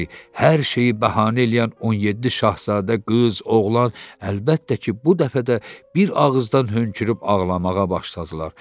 Hər şeyi bəhanə eləyən 17 şahzadə qız, oğlan, əlbəttə ki, bu dəfə də bir ağızdan hönkürüb ağlamağa başladılar.